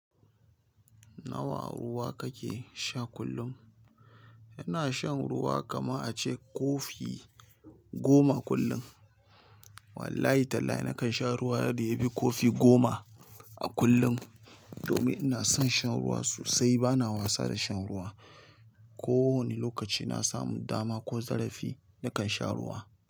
Nawa ruwa kake sha kullum? Ina shan ruwa kaman a ce kofi goma kullum. Wallahi Tallahi nakan sha ruwa yadda ya fi kofi goma a kullum. Domin ina son shan ruwa sosai bana wasa da shan ruwa. Ko wani lokaci na samu dama ko zarafi nakan sha ruwa.